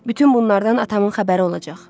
Bütün bunlardan atamın xəbəri olacaq.